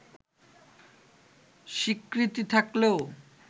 স্বীকৃতি থাকলেও